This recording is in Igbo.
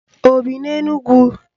O bi n'Enugwu?